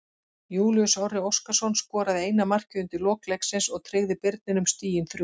Júlíus Orri Óskarsson skoraði eina markið undir lok leiksins og tryggði Birninum stigin þrjú.